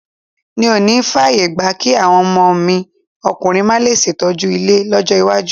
N ò níí fààyè gba kí àwọn ọmọ ọmọ mi ọkùnrin máa le ṣètọ́jú ilé lọ́jọ́ iwájú.